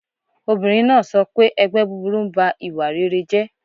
Obìnrin náà sọ pé 'ẹgbẹ́ búburú ń ba ìwà rere jẹ́'